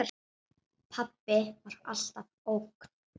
Pabbi var alltaf ógn.